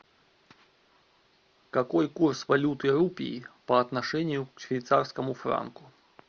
какой курс валюты рупий по отношению к швейцарскому франку